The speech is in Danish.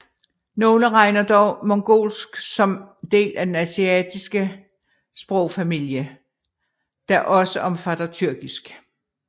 Nogle regner dog mongolsk som del af den altaiske sprogfamilie der også omfatter tyrkisk